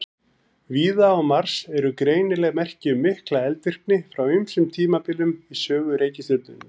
Víða á Mars eru greinileg merki um mikla eldvirkni frá ýmsum tímabilum í sögu reikistjörnunnar.